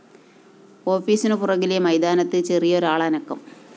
ഓഫീസിനു പുറകിലെ മൈതാനത്ത്‌ ചെറിയൊരാളനക്കം